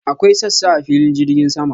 Akwai sassa a filin jirgin sama.